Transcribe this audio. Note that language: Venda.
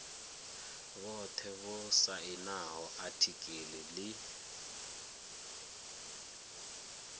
vhothe vho sainaho atiki ḽi